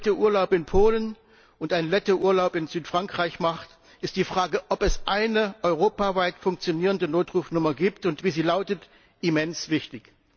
ein Brite Urlaub in Polen und ein Lette Urlaub in Südfrankreich macht, ist die Frage, ob es eine europaweit funktionierende Notrufnummer gibt und wie sie lautet, immens wichtig.